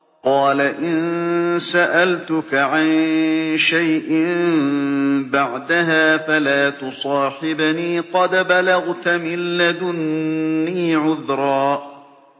قَالَ إِن سَأَلْتُكَ عَن شَيْءٍ بَعْدَهَا فَلَا تُصَاحِبْنِي ۖ قَدْ بَلَغْتَ مِن لَّدُنِّي عُذْرًا